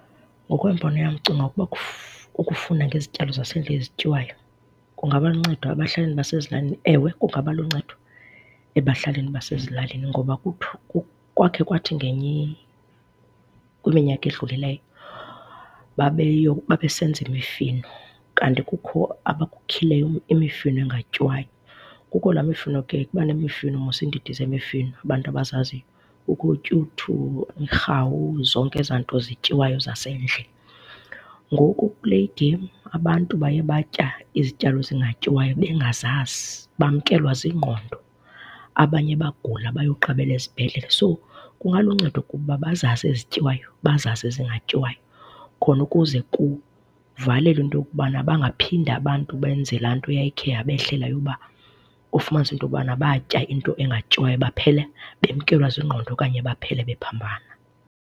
Ngokwembono yam ndicinga uba ukufunda ngezityalo zasendle ezityawayo kungaba luncedo ebahlalini basezilalini. Ewe, kungaba luncedo ebahlalini basezilalini. Ngoba kwake kwathi kwiminyaka edlulileyo babe babesenza imifino kanti kukho abakukhileyo imifino engatyiwayo. Kukho laa mifino ke, kuba nemifino mos iindidi zemifino kubantu abazaziyo, kukho ootyuthu, iirhawu zonke ezanto zityiwayo zasendle. Ngoku kule igem, abantu baye batya izityalo ezingatyiwayo bengazazi bamkelwa zingqondo abanye bagula bayoqabela ezibhedlele. So, kungaluncedo kubo uba bazazi ezityiwayo, bazazi ezingatyiwayo khona ukuze kuvalelwe into yokubana bangaphinde abantu benze laa nto yayikhe yabehlela yokuba ufumanise into yokubana batya into engatyiwayo, baphela bemkelwa zingqondo okanye baphele bephambana.